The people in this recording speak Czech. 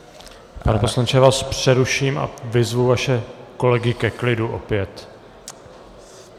Pane poslanče, já vás přeruším a vyzvu vaše kolegy ke klidu opět.